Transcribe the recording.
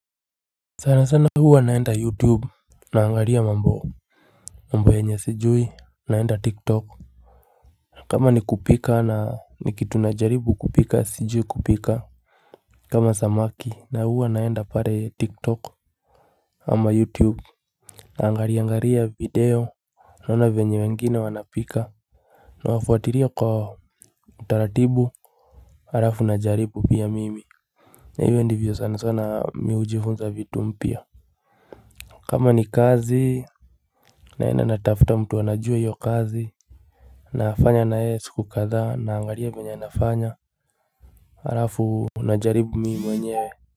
Sana sana huwa naenda youtube na angalia mambo mambo yenye sijui naenda tik tok kama ni kupika na ni kitu na jaribu kupika sijui kupika kama samaki na huwa naenda pale tik tok ama youtube. Naangaliaangalia video Naona venye wengine wanapika. Nawafuatilia kwa utaratibu Halafu na jaribu pia mimi. Na hivyo ndivyo sana sana mimi hujifunza vitu mpya kama ni kazi naena natafuta mtu anajua hiyo kazi Nafanya na yeye siku kadhaa naangalia venye anafanya Halafu unajaribu mimi mwenyewe.